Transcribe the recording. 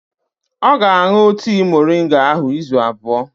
Ọ ga-aṅụ tii moringa ahụ izu abụọ.